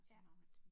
Ja